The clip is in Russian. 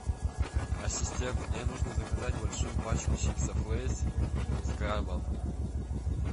ассистент мне нужно заказать большую пачку чипсов лейс с крабом